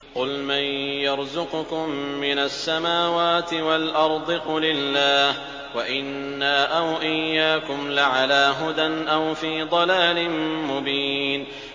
۞ قُلْ مَن يَرْزُقُكُم مِّنَ السَّمَاوَاتِ وَالْأَرْضِ ۖ قُلِ اللَّهُ ۖ وَإِنَّا أَوْ إِيَّاكُمْ لَعَلَىٰ هُدًى أَوْ فِي ضَلَالٍ مُّبِينٍ